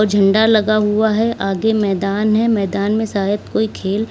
झंडा लगा हुआ है आगे मैदान है मैदान में शायद कोई खेल--